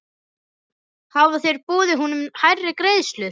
Hafa þeir boðið honum hærri greiðslur?